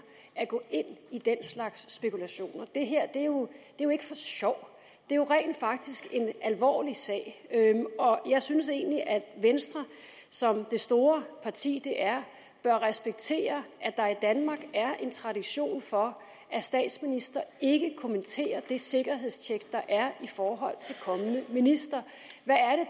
at gå ind i den slags spekulationer det her er jo ikke for sjov det er rent faktisk en alvorlig sag og jeg synes egentlig at venstre som det store parti det er bør respektere at der i danmark er en tradition for at statsministre ikke kommenterer det sikkerhedstjek der er i forhold til kommende ministre